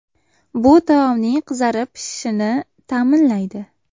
Bu taomning qizarib pishishini ta’minlaydi.